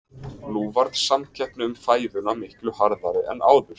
Nú varð samkeppni um fæðuna miklu harðari en áður.